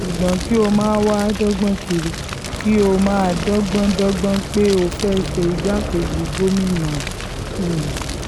ṣùgbọ́n kí ó máa wáá dọ́gbọ́n kiri kí ó máa um dọ́gbọ́n dọ́gbọ́n pé ó fẹ́ẹ́ ṣe igbákejì gómìnà um hunn